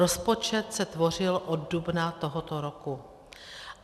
Rozpočet se tvořil od dubna tohoto roku.